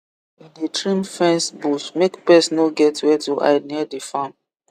e dey trim fence bush make pest no get where to hide near the farm